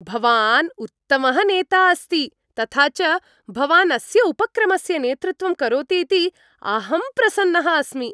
भवान् उत्तमः नेता अस्ति, तथा च भवान् अस्य उपक्रमस्य नेतृत्वं करोतीति अहं प्रसन्नः अस्मि।